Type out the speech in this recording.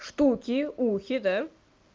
штуки ухи да